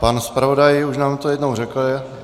Pan zpravodaj už nám to jednou řekl.